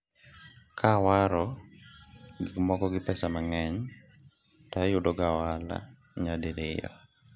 ka awaro gikmoko gi pesa mang'eny to ayudo ga ohala nyadiriyo